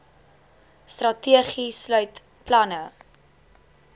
strategie sluit planne